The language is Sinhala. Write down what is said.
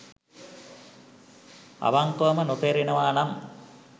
අවංකවම නොතේරෙනවා නම්